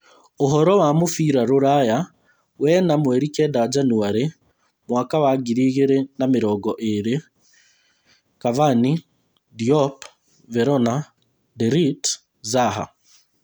Ũhoro wa mũbira rũraya wena mweri kenda Janũarĩ mwaka wa ngiri igĩrĩ na mĩrongo ĩĩrĩ: Cavani, Diop, Verona, De Ligt, Zaha